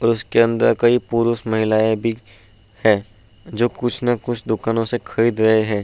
और उसके अंदर कई पुरुष महिलायें भी हैं जो कुछ ना कुछ दुकानों से खरीद रहे हैं।